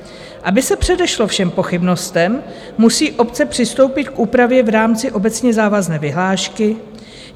Aby se předešlo všem pochybnostem, musí obce přistoupit k úpravě v rámci obecně závazné vyhlášky.